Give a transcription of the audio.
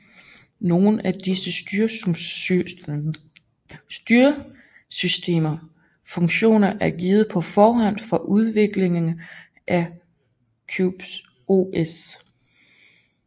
Nogle af disse styresystemers funktion er givet på forhånd fra udviklerne af Qubes OS